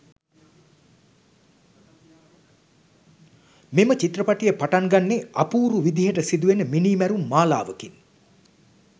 මෙම චිත්‍රපටිය පටන් ගන්නේ අපූරු විදිහට සිදු වෙන මිනීමැරුම් මාලාවකින්.